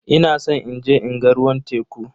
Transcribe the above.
Ina san inje in ga ruwan teku.